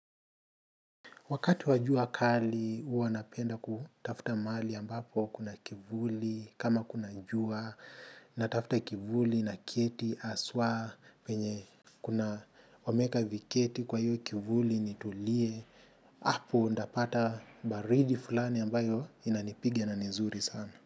Wakati wa jua kali huwa napenda kutafuta mahali ambapo kuna kivuli kama kuna jua natafuta kivuli naketi haswa penye kuna wameeka viketi kwa hiyo kivuli nitulie hapo nitapata baridi fulani ambayo inanipiga na ni nzuri sana.